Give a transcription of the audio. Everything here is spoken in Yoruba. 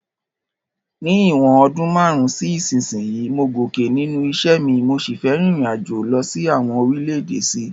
Ní ìwòn odún marun si isínsìnyí, mo gòkè nínú isẹ́ mi, mo si fe ririnajo lo sí àwon orílẹ̀dè sí